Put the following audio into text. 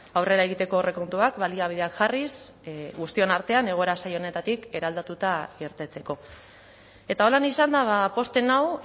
aurrera egiteko aurrekontuak baliabideak jarriz guztion artean egoera zail honetatik eraldatuta irtetzeko eta holan izanda pozten nau